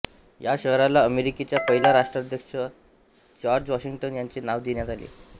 ह्या शहराला अमेरिकेचा पहिला राष्ट्राध्यक्ष जॉर्ज वॉशिंग्टन याचे नाव देण्यात आले